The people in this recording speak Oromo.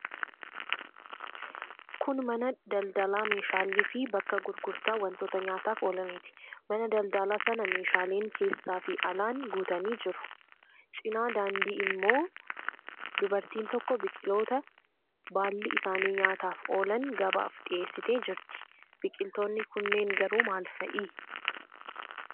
Kun mana daldalaa meeshaaleefi bakka gurgurtaa wantoota nyaataaf oolaniiti. Mana daldalaa sana meeshaaleen keessaafi alaan guutanii jiru. Cina daandii immoo dubartiin tokko biqiltoota baalli isaanii nyaataaf oolan gabaaf dhiheessitee jirti. Biqiltoonni kunneen garuu maal fa'i?